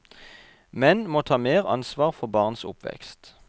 Menn må ta mer ansvar for barns oppvekst.